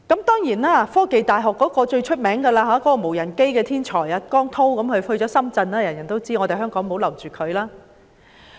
當然，科技大學最著名的"無人機"天才汪滔落戶深圳，大家也知道香港留不住他。